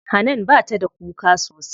Hanan bata da kuka sosai.